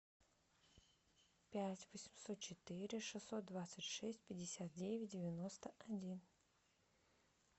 пять восемьсот четыре шестьсот двадцать шесть пятьдесят девять девяносто один